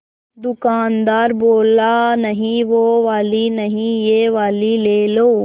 दुकानदार बोला नहीं वो वाली नहीं ये वाली ले लो